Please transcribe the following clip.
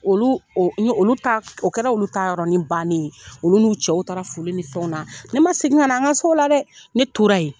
Olu o ni ɲe, olu ta, o kɛra olu ta yɔrɔni bannen yen, olu n'u cɛw taara foli ni fɛnw na ne ma segin ka na , an ka so o la dɛ, ne tora ye.